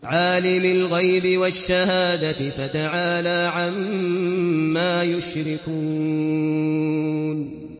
عَالِمِ الْغَيْبِ وَالشَّهَادَةِ فَتَعَالَىٰ عَمَّا يُشْرِكُونَ